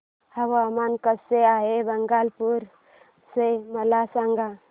हवामान कसे आहे भागलपुर चे मला सांगा